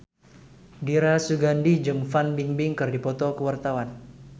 Dira Sugandi jeung Fan Bingbing keur dipoto ku wartawan